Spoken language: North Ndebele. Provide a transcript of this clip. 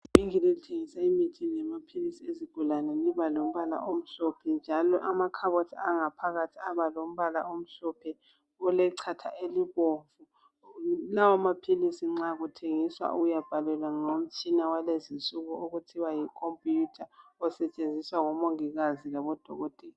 Ivinkili elithengisa imithi lamaphilisi ezigulane liba lombala omhlophe njalo amakhaboti angaphakathi abalombala omhlophe olechatha elibomvu lawo maphilisi nxa kuthengiswa uyabhalelwa ngutshina walezi nsuku okuthiwa yikhompuyutha osetshenziswa ngomongikazi labo dokotela